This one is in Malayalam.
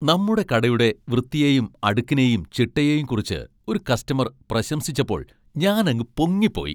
നമ്മുടെ കടയുടെ വൃത്തിയെയും അടുക്കിനെയും ചിട്ടയെയും കുറിച്ച് ഒരു കസ്റ്റമർ പ്രശംസിച്ചപ്പോൾ ഞാനങ്ങു പൊങ്ങിപ്പോയി.